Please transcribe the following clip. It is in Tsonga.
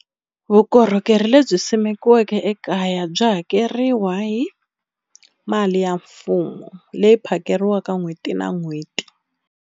Vukorhokeri lebyi simekiweke ekaya byi hakeriwa hi mali ya mfumo leyi phakeriwa n'hweti na n'hweti.